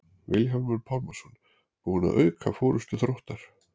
Vilhjálmur Pálmason búinn að auka forystu Þróttar.